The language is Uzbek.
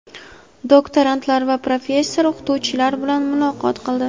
doktorantlar va professor-o‘qituvchilar bilan muloqot qildi.